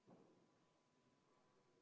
Poolt 42, vastu ei ole keegi ja 1 on erapooletu.